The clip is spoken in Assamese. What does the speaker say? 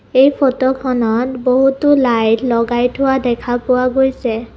এই ফটোখনত বহুতো লাইট লগাই থোৱা দেখা পোৱা গৈছে।